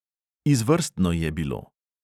Izvrstno je bilo.